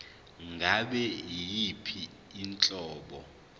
ngabe yiyiphi inhlobo